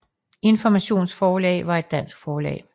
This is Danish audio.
Informations Forlag var et dansk forlag